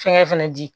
Fɛngɛ fana di